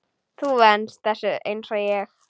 Þú venst þessu einsog ég.